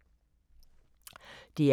DR P4 Fælles